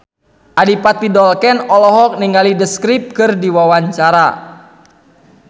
Adipati Dolken olohok ningali The Script keur diwawancara